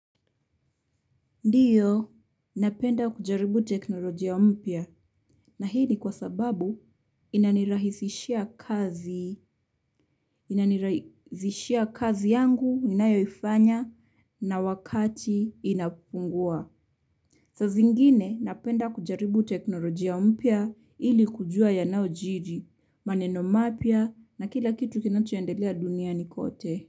Ndiyo, napenda kujaribu teknolojia mpya na hii ni kwa sababu inanirahisishia inanirahisishia kazi yangu ninayoifanya na wakati inapungua. Saa zingine, napenda kujaribu teknolojia mpya ili kujua yanaojiri, maneno mapya na kila kitu kinachoendelea duniani kwote.